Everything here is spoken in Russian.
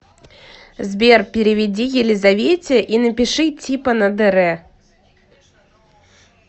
сбер переведи елизавете и напиши типа на др